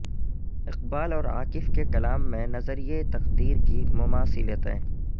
اقبال اور عاکف کے کلام میں نظریہ تقدیر کی مماثلتیں